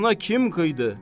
Sana kim qıydı?